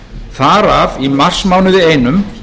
þar af í marsmánuði einum